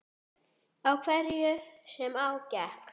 Á hverju sem á gekk.